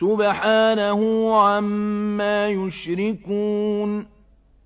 سُبْحَانَهُ عَمَّا يُشْرِكُونَ